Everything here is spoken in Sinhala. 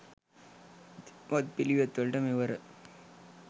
වත්පිළිවෙත් වලට, මෙවර